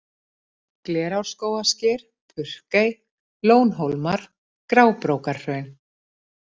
Glerárskógasker, Purkey, Lónhólmar, Grábrókarhraun